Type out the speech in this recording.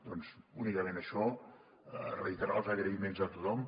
doncs únicament això reiterar els agraïments a tothom